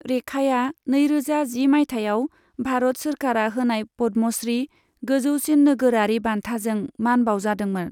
रेखाया नैरोजा जि माइथायाव भारत सोरखारआ होनाय पद्मश्री, गोजौसिन नोगोरारि बान्थाजों मान बाउजादोंमोन।